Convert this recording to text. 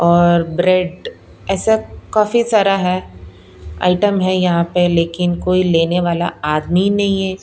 और ब्रेड ऐसा काफी सारा है आइटम है यहां पे लेकिन कोई लेने वाला आदमी नहीं है।